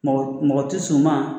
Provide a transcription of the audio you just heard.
Mɔgɔ tɛ s'u ma